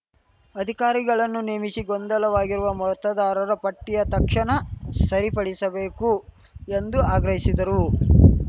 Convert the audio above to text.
ಅಧಿಕಾರಿಗಳನ್ನು ನೇಮಿಸಿ ಗೊಂದಲವಾಗಿರುವ ಮತದಾರರ ಪಟ್ಟಿಯ ತಕ್ಷಣ ಸರಿಪಡಿಸಬೇಕು ಎಂದು ಆಗ್ರಹಿಶಿದರು